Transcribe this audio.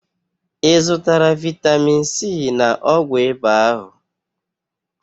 Ị zụkotara vitamin C na ọgwụ ịba Ahu?